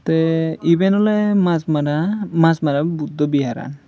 iben ole Machmara Machmara buddho bihar an.